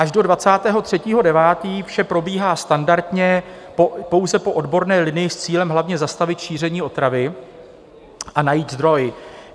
Až do 23. 9. vše probíhá standardně pouze po odborné linii s cílem hlavně zastavit šíření otravy a najít zdroj.